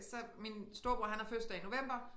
Så min storebror han har fødselsdag i november